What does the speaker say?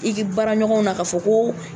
I bi baaraɲɔgɔnw na k'a fɔ ko